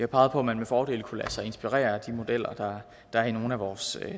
peget på at man med fordel kunne lade sig inspirere af de modeller der er i nogle af vores